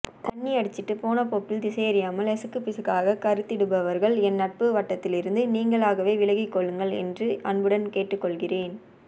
தண்ணியடிச்சிட்டு போனபோக்கில் திசையறியாமல் எசகுபிசகா கருத்திடுபவர்கள் என் நட்பு வட்டத்திலிருந்து நீங்களாகவே விலகிக்கொள்ளுங்கள் என்று அன்புடன் கேட்டுக்கொள்கிறேன்